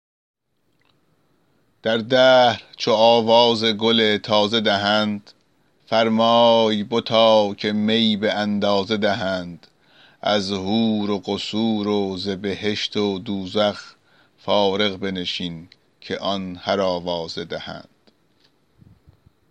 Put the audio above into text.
در دهر چو آواز گل تازه دهند فرمای بتا که می به اندازه دهند از حور و قصور و ز بهشت و دوزخ فارغ بنشین که آن هر آوازه دهند